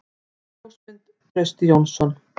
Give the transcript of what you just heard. Ljósmynd: Trausti Jónsson.